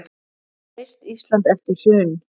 Reist Ísland eftir hrun.